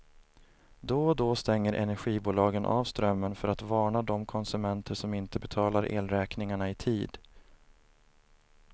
Då och då stänger energibolagen av strömmen för att varna de konsumenter som inte betalar elräkningarna i tid.